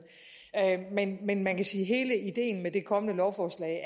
men men man kan sige at hele ideen med det kommende lovforslag